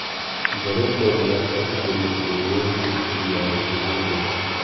ijeruu kweinik ak sokisinik yaiwendii ipiae tiemutik